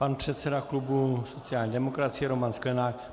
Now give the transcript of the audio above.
Pan předseda klubu sociální demokracie Roman Sklenák.